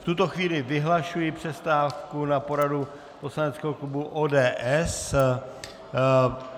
V tuto chvíli vyhlašuji přestávku na poradu poslaneckého klubu ODS.